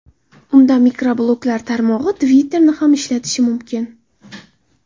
Unda mikrobloglar tarmog‘i – Twitter’ni ham ishlatish mumkin.